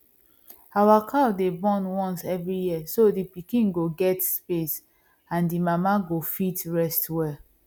our cow dey born once every year so the pikin go get space and the mama go fit rest well